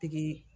Pikiri